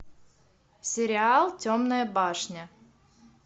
сериал темная башня